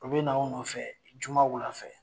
U bɛ n'aw nɔfɛ juma wula fɛ